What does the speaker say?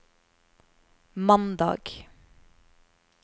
mandag